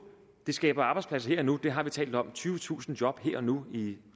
skaber arbejdspladser her og nu det har vi talt om og tyvetusind job her og nu i